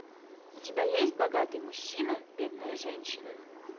у тебя есть богатый мужчина бедная женщина